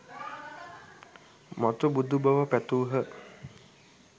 මතු බුදු බව පැතූහ